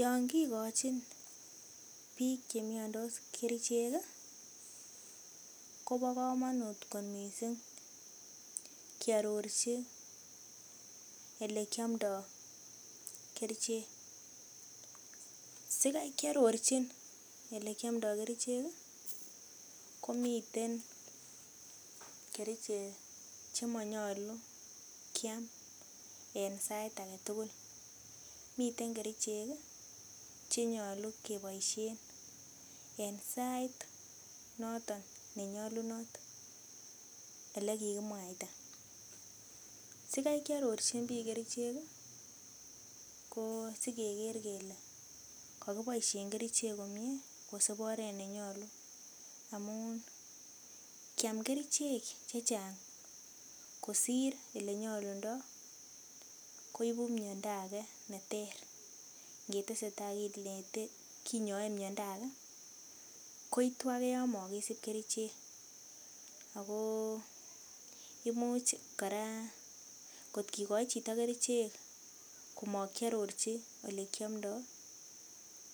Yon kigochin biik che miondos kerichek kobo komonut kot miisng kearorji ele kiamdo kerichek. Sikai ke arorjin ole kiomdo kerichek komiten kerichek che manyolu kyam en sait age tugul. Miten kerichek che nyolu keboishen en sait noton ne nyolunot ele kigimwaita. Sikai ke arorjin biik kerichek ko sikeker kele kogiboisien kerichek komye kosib oret ne nyolu amun kyam kerichek che chang kosir ele nyolundo ko igu miondo age neter. Ngetesetai kinyoe miondo age koitu age yon mogisib kerichek. Ago imuch kora kotkigochi chito kerichek amakiarorji ole kiomdo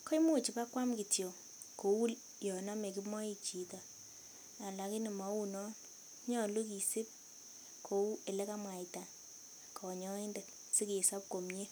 koimuch ibakoam kityo kou yon ame kimoik chito alakini mou non, nyolu kisib kou ole kamwaita konyoindet sikesob komye.